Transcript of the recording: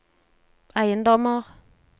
eiendommer